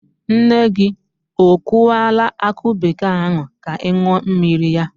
Nne gị o kụwala akụ bekee ahụ ka ị ṅụọ mmiri ya?